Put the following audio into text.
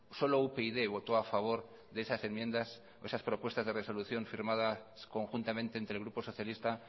solo upyd votó a favor de esas enmiendas esas propuestas de resolución firmadas conjuntamente entre el grupo socialista